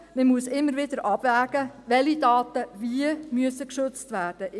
Man muss immer wieder abwägen, welche Daten wie geschützt werden müssen.